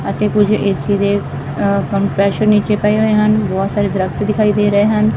ਅਤੇ ਕੁਝ ਏ_ਸੀ ਦੇ ਕੰਪਰੈਸ਼ਨ ਨੀਚੇ ਪਏ ਹੋਏ ਹਨ ਬਹੁਤ ਸਾਰੇ ਦਰਖਤ ਦਿਖਾਈ ਦੇ ਰਹੇ ਹਨ।